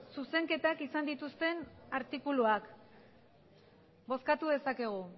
zuzenketak izan dituzten artikuluak bozkatu dezakegu